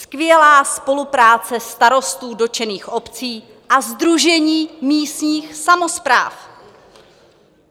Skvělá spolupráce starostů dotčených obcí a Sdružení místních samospráv...